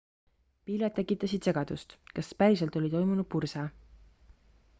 pilved tekitasid segadust kas päriselt oli toimunud purse